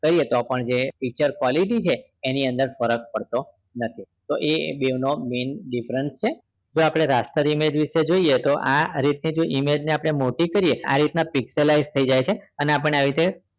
કહીએ તો પણ એની features quality છે એની અંદર ફરક પડતો નથી તો એ બે નો difference છે આપણે raster image વિશે જોઈએ તો તો આ રીતે આપણે image ને મોટી કરીએ epistolize પણ આવી રીતે